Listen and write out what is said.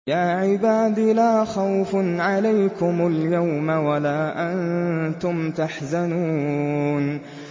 يَا عِبَادِ لَا خَوْفٌ عَلَيْكُمُ الْيَوْمَ وَلَا أَنتُمْ تَحْزَنُونَ